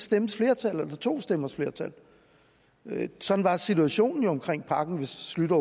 eller to stemmers flertal sådan var situationen jo omkring pakken hvis schlüter